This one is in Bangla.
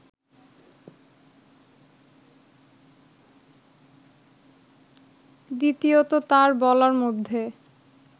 দ্বিতীয়ত তাঁর বলার মধ্যে